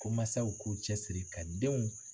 Ko mansaw k'u cɛsiri ka denw